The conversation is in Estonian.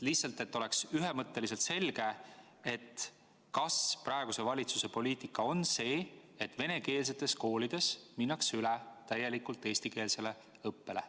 Lihtsalt, et oleks ühemõtteliselt selge, küsin, kas praeguse valitsuse poliitika on see, et venekeelsetes koolides minnakse üle täielikult eestikeelsele õppele.